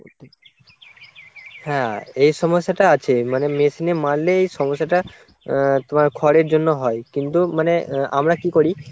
হ্যাঁ এই সমস্যাটা আছে মানে machine এ মারলে এই সমস্যাটা আহ তোমার খড়ের জন্য হয় কিন্তু আহ মানে আমরা কি করি